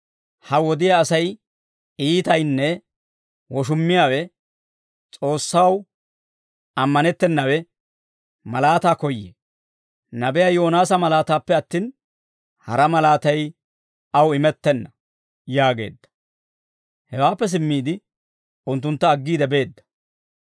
Ha wodiyaa Asay iitaynne woshummiyaawe, S'oossaw ammanettennawe, malaataa koyyee; nabiyaa Yoonaasa malaataappe attin, hara malaatay aw imettenna» yaageedda. Hewaappe simmiide, unttuntta aggiide beedda.